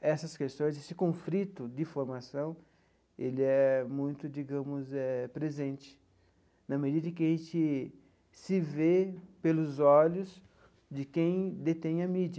essas questões, esse conflito de formação, ele é muito, digamos eh, presente, na medida em que a gente se vê pelos olhos de quem detém a mídia.